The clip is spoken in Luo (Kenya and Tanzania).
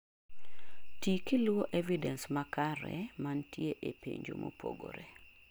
tii kiluwo evidence makaremantie ee penjo mopogore